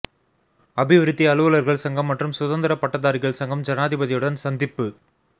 அபிவிருத்தி அலுவலர்கள் சங்கம் மற்றும் சுதந்திர பட்டதாரிகள் சங்கம் ஜனாதிபதியுடன் சந்திப்பு